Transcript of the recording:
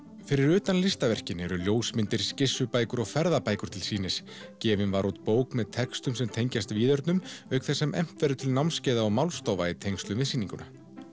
fyrir utan listaverkin eru ljósmyndir skissubækur og ferðabækur til sýnis gefin var út bók með textum sem tengjast víðernum auk þess sem efnt verður til námskeiða og málstofa í tengslum við sýninguna